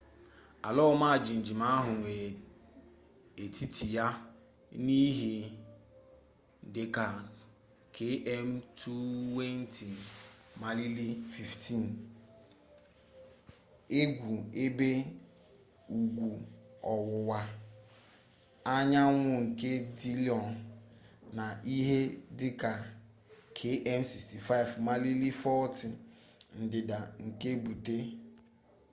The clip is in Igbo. ala ọma jijiji ahụ nwere etiti ya na ihe dị ka km 20 maịlị 15 ugwu-ebe ugwu ọwụwa anyanwụnke dillon na ihe dị ka km 65 maịlị 40 ndịda nke butte